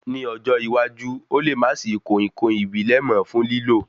Ní ọjọ́ iwájú, Ó le má sì í koinkoin ìbílẹ̀ mọ fún lílò